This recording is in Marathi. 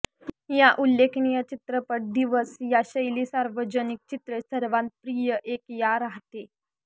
या उल्लेखनीय चित्रपट दिवस या शैली सार्वजनिक चित्रे सर्वात प्रिय एक या राहते